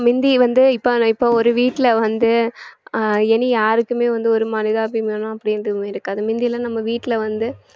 முந்தி வந்து இப்ப இப்ப ஒரு வீட்ல வந்து அஹ் இனி யாருக்குமே வந்து ஒரு மனிதாபிமானம் அப்படின்றது இருக்காது முந்தியெல்லாம் நம்ம வீட்டுல வந்து